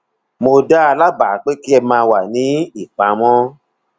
mo dá a lábàá pé kí ẹ máa wà ní ìpamọ